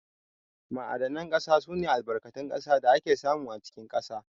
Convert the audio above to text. Ma'adanan ƙasa sune Albarkatun ƙasa da ake samu a cikin ƙasa.